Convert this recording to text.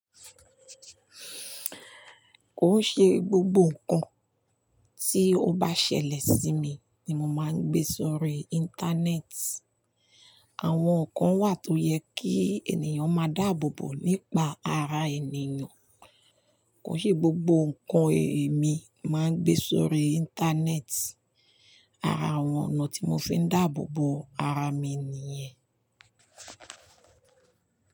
Kò ṣe gbogbo nǹkan tí ó bá ṣẹlẹ̀ sí mi ni mo máa ń gbé sórí Íńtánẹ́ẹ̀tì. Àwọn nǹkan wà tó yẹ kí ènìyàn máa dàbọ̀ bọ̀ nípa ara ènìyàn. Kò ṣe gbogbo nǹkan èmi máa ń gbé sórí Íńtánẹ́ẹ̀tì. Ara àwọn ọ̀nà tí mo fi ń dàbọ̀ bọ̀ ara mi nìyẹn.